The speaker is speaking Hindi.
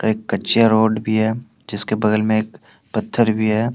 एक कच्चे रोड भी है जिसके बगल में एक पत्थर भी है।